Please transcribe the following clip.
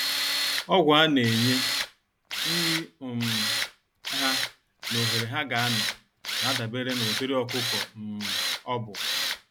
Ọgwụ a-nenye, nri um ha nà ohere ha ga anọ, nadabere n'ụdịrị ọkụkọ um ọbụ.